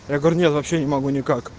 я говорю нет вообще не могу никак